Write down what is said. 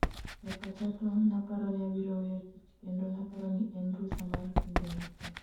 e pacha to naparo ni abiro weyo tich, kendo naparo ni en rusa mar kinde matin,